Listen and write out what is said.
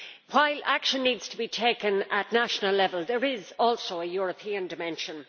While action needs to be taken at national level, there is also a European dimension.